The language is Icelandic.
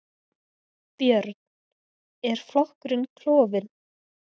Björn: Er flokkurinn klofin?